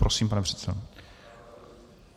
Prosím, pane předsedo.